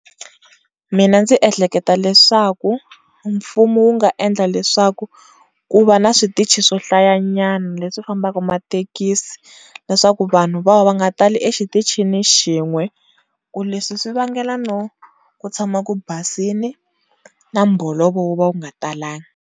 Mina ndzi ehleketa leswaku mfumo wu nga endla leswaku ku va na switichi swohlayanyana leswi fambaka mathekisi leswaku vanhu va nga tali exitichini xin'we ku leswi swivangela no ku tshama ku basini na mbolovo wu va wu nga talangi.